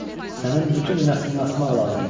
Sənin bütün nəslini asmaq lazımdır.